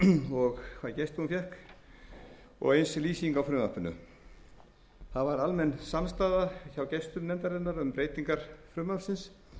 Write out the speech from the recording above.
og hvaða gesti hún fékk og eins er lýsing á frumvarpinu það var almenn samstaða hjá gestum nefndarinnar um breytingar frumvarpsins